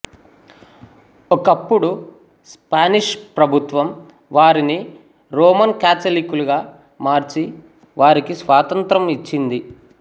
ఒకప్పుడు స్పానిష్ ప్రభుత్వం వారిని రోమన్ కాథ్సలిక్కులుగా మార్చి వారికి స్వాతంత్ర్యం ఇచ్చింది